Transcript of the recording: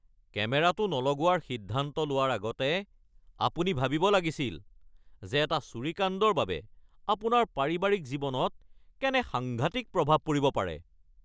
কেমেৰাটো নলগোৱাৰ সিদ্ধান্ত লোৱাৰ আগতে আপুনি ভাবিব লাগিছিল যে এটা চুৰিকাণ্ডৰ বাবে আপোনাৰ পাৰিবাৰিক জীৱনত কেনে সাংঘাতিক প্ৰভাৱ পৰিব পাৰে। (পুলিচ)